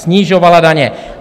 Snižovala daně.